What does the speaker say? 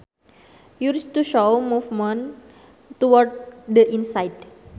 Used to show movement towards the inside